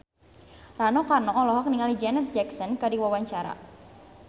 Rano Karno olohok ningali Janet Jackson keur diwawancara